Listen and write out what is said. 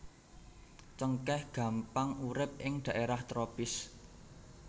Cengkèh gampang urip ing dhaerah tropis